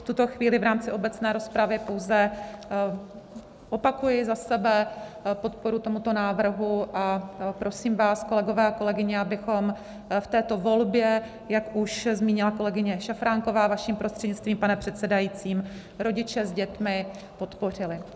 V tuto chvíli v rámci obecné rozpravy pouze opakuji za sebe podporu tomuto návrhu a prosím vás, kolegyně a kolegové, abychom v této volbě, jak už zmínila kolegyně Šafránková, vaším prostřednictvím, pane předsedající, rodiče s dětmi podpořili.